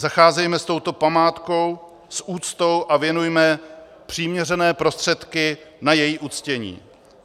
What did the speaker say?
Zacházejme s touto památkou s úctou a věnujme přiměřené prostředky na její uctění.